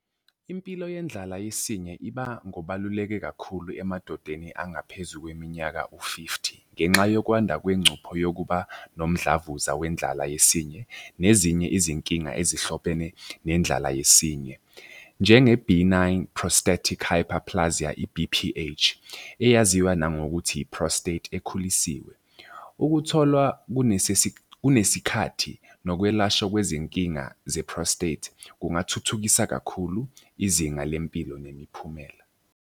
Impilo yendlala yesinye iba ngobaluleke kakhulu emadodeni angaphezu kweminyaka u-fifty. Ngenxa yokwanda kwengcuphe yokuba nomdlavuza wendlala yesinye nezinye izinkinga ezihlobene nendlala yesinye. Njenge-benign prostatic hyperplasia, B_P_H, eyaziwa nangokuthi i-prostate ekhulisiwe. Ukutholwa kunesikhathi nokwelashwa kwezinkinga ze-prostate. Kungathuthukisa kakhulu izinga lempilo nemiphumela.